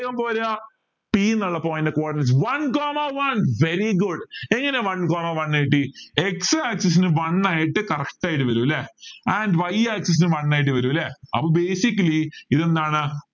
പോരാ p എന്നുള്ള point ൻ്റെ coordinates one comma one very good എങ്ങനെ one comma one കിട്ടി x axis ന് one ആയിട്ട് connect ആയിട്ട് വരൂ അല്ലെ and y axis ന് one ആയിട്ട് വരൂ അല്ലെ അപ്പൊ basically ഇതെന്താണ്